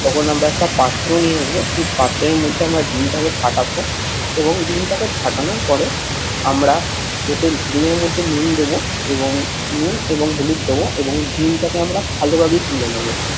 তখন আমরা একটা পাত্র নিয়ে আসবো, সেই পাত্রের মধ্যে আমরা ডিমটাকে ফাটাবো এবং ডিমটাকে ফাটানোর পরে আমরা ওতে ডিমের মধ্যে নুন দেবো এবং নুন এবং হলুদ দেবো এবং ডিমটাকে আমরা ভালোভাবে গুলে নেবো।